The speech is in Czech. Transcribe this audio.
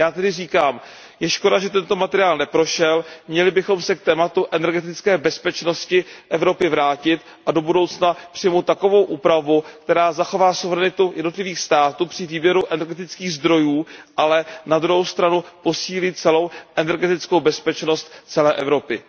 Já tedy říkám, je škoda, že tento materiál neprošel, měli bychom se k tématu energetické bezpečnosti Evropy vrátit a do budoucna přijmout takovou úpravu, která zachová suverenitu jednotlivých států při výběru energetických zdrojů, ale na druhou stranu posílí celou energetickou bezpečnost celé Evropy.